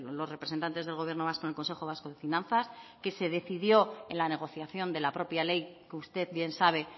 los representantes del gobierno vasco en el consejo vasco de finanzas que se decidió en la negociación de la propia ley que usted bien sabe